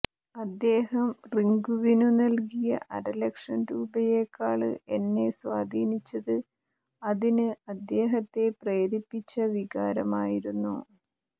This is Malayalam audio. അദ്ദേഹം റിങ്കുവിനു നല്കിയ അരലക്ഷം രൂപയേക്കാള് എന്നെ സ്വാധീനിച്ചത് അതിന് അദ്ദേഹത്തെ പ്രേരിപ്പിച്ച വികാരമായിരുന്നു